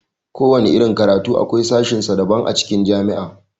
Kowana irin karatu akwai sashen sa daban a cikin jami'a.